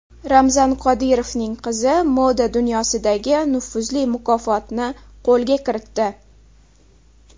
Ramzan Qodirovning qizi moda dunyosidagi nufuzli mukofotni qo‘lga kiritdi.